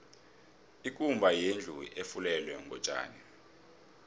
ikumba yindlu efulelwe ngotjani